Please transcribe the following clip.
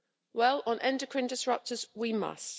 Well, on endocrine disruptors we must.